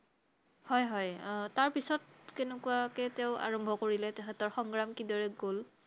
হয় হয় তাৰপিছত কেনেকুৱাকে তেওঁ আৰম্ভ কৰিলে তেখেতৰ সংগ্ৰাম কিদৰে গʼল?